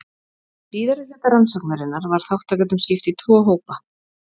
Í síðari hluta rannsóknarinnar var þátttakendum skipt í tvo hópa.